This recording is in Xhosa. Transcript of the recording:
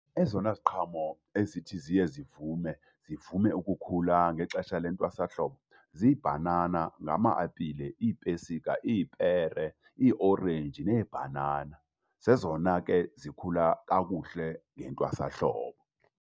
Ezona ziqhamo ezithi ziye zivume, zivume ukukhula ngexesha lentwasahlobo ziibhanana, ngama-apile, iipesika, iipere, iiorenji neebhanana. Zezona ke zikhula kakuhle ngentwasahlobo.